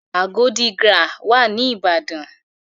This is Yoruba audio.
Agodi GRA wà ní Ìbàdàn.